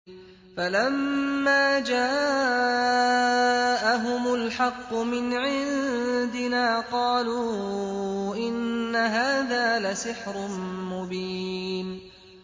فَلَمَّا جَاءَهُمُ الْحَقُّ مِنْ عِندِنَا قَالُوا إِنَّ هَٰذَا لَسِحْرٌ مُّبِينٌ